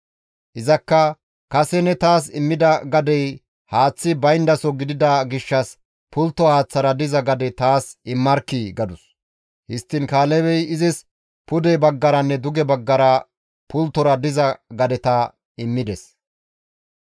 Izakka, «Kase ne taas immida gadey haaththi bayndaso gidida gishshas pultto haaththara diza gade taas immarkkii!» gadus. Histtiin Kaalebey izis pude baggaranne duge baggara pulttora diza gadeta immides.